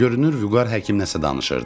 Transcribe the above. Görünür Vüqar həkimlə nəsə danışırdı.